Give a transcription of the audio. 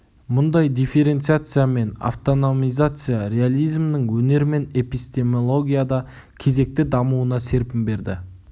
мұндай дифференциация мен автономизация реализмнің өнер мен эпистемологияда кезекті дамуына серпін берді